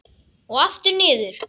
Og aftur niður.